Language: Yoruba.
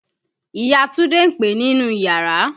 Ìya Túndé ń pe ẹ nínú iyàrá.